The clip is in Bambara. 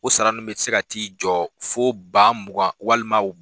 O sara ninu bɛ se ka t'i jɔ fo ba mugan walima